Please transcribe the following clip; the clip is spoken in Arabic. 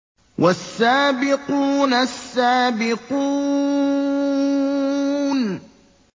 وَالسَّابِقُونَ السَّابِقُونَ